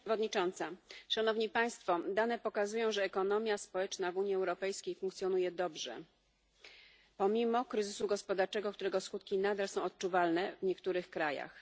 Pani Przewodnicząca! Dane pokazują, że ekonomia społeczna w Unii Europejskiej funkcjonuje dobrze pomimo kryzysu gospodarczego, którego skutki nadal są odczuwalne w niektórych krajach.